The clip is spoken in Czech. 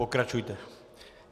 Pokračujte.